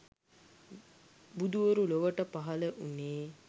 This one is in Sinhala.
බුදුවරු ලොවට පහළ වුණේ